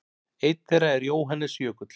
Einn þeirra er Jóhannes Jökull.